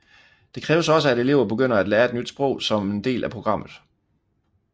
Det kræves også at elever begynder at lære et nyt sprog som en del af programmet